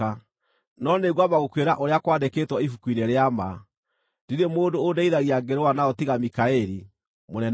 no nĩngwamba gũkwĩra ũrĩa kwandĩkĩtwo Ibuku-inĩ-rĩa-Ma. (Ndirĩ mũndũ ũndeithagia ngĩrũa nao tiga Mikaeli, mũnene wanyu.